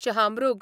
शहामृग